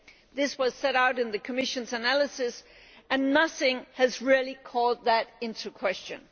This was set out in the Commission's analysis and nothing has really called that into question.